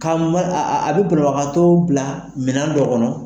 a be banagakatɔ bila minɛn dɔw kɔnɔ